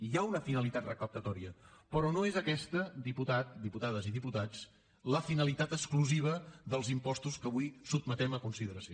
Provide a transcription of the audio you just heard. hi ha una finalitat recaptadora però no és aquesta diputat diputades i diputats la finalitat exclusiva dels impostos que avui sotmetem a consideració